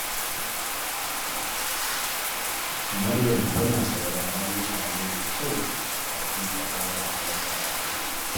Maryam tana sauraron mutane da kyau kafin ta bada amsa a zance.